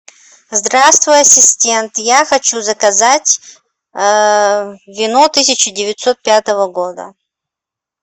здравствуй ассистент я хочу заказать вино тысяча девятьсот пятого года